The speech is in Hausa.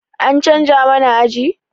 An canza mana aji?